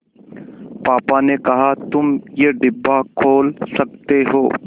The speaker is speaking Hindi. पापा ने कहा तुम ये डिब्बा खोल सकते हो